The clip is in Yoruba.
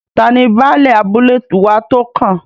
Tani Baálẹ̀ abúlé wa tó kàn?